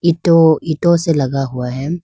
ईंटों ईटों से लगा हुआ है।